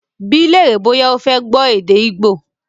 Bí lèrè bọ́yá o fé kọ èdè Igbo!